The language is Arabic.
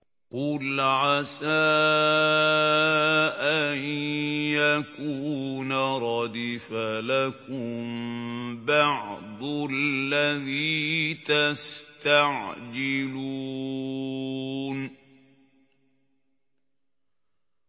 قُلْ عَسَىٰ أَن يَكُونَ رَدِفَ لَكُم بَعْضُ الَّذِي تَسْتَعْجِلُونَ